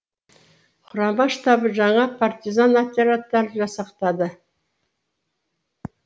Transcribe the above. құрама штабы жаңа партизан отрядтарын жасақтады